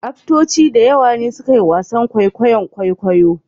Aftoci da yawa ne suke wasan kwaikwayon kwaikwayo